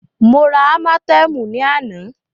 Mó rá ámátẹ̀ẹ̀mú ní àná.